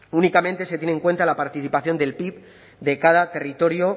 únicamente se tiene en cuenta la participación del pib de cada territorio